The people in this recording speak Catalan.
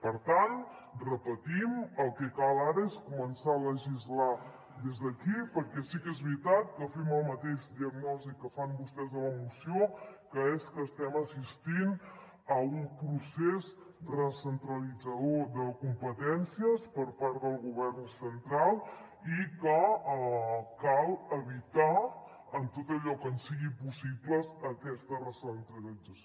per tant ho repetim el que cal ara és començar a legislar des d’aquí perquè sí que és veritat que fem la mateixa diagnosi que fan vostès a la moció que és que estem assistint a un procés recentralitzador de competències per part del govern central i que cal evitar en tot allò que ens sigui possible aquesta recentralització